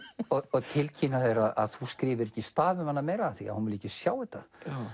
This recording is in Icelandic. og tilkynna þér að þú skrifir ekki staf um hana meira því hún vilji ekki sjá þetta